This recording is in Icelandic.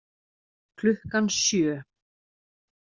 Klukkan sjö